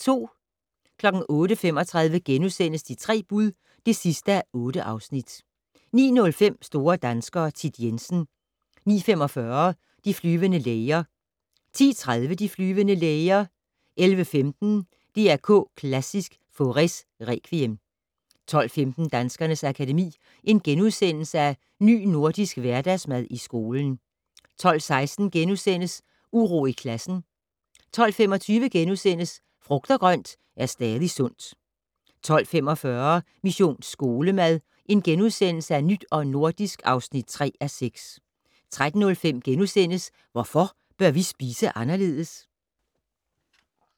08:35: De tre bud (8:8)* 09:05: Store danskere - Thit Jensen 09:45: De flyvende læger 10:30: De flyvende læger 11:15: DR K Klassisk: Faurés Requiem 12:15: Danskernes Akademi: Ny Nordisk Hverdagsmad i skolen * 12:16: Uro i klassen * 12:25: Frugt og grønt er stadig sundt * 12:45: Mission Skolemad: Nyt og nordisk (3:6)* 13:05: Hvorfor bør vi spise anderledes? *